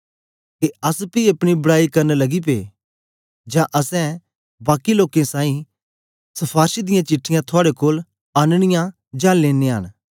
के अस पी अपनी बड़याई करन लगी पे जां असैं बाकी लोकें साईं शफारशें दियां चिट्ठीयां थुआड़े कोल आननियां जां लेनयां न